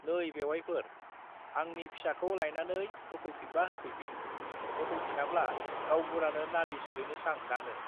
नै बेउवाइफोर, आंनि फिसाखौ लायनानै होफैफिनबा होफैफिन, होफैफिनाब्ला गावबुरानो नालिस हैनोसां दानो।